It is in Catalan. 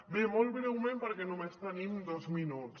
bé molt breument perquè només tenim dos minuts